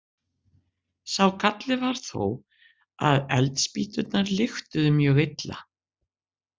Sá galli var þó að eldspýturnar lyktuðu mjög illa.